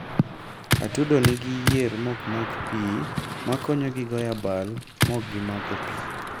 atudo nigi yier mokmak pii makonyogi goyoabal mokgimako pii